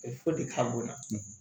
ka bonya